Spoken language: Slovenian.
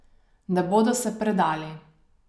Ne bodo se predali.